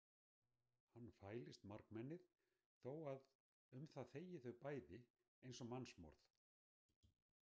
Hann fælist margmennið þó að um það þegi þau bæði eins og mannsmorð.